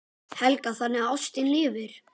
Helga: Þannig að ástin lifir?